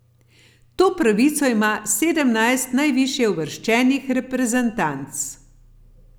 To pravico ima sedemnajst najvišje uvrščenih reprezentanc.